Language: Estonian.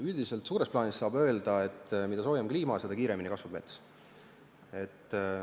Üldiselt suures plaanis saab öelda, et mida soojem on kliima, seda kiiremini mets kasvab.